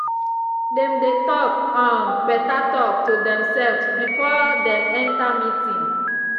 dem dey talk um better talk to themselves before dem enter meeting.